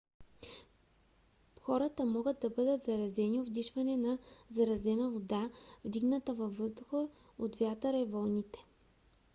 хората могат да бъдат заразени от вдишване на заразена вода вдигната във въздуха от вятъра и вълните